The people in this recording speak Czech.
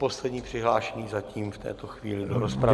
Poslední přihlášený zatím v této chvíli do rozpravy.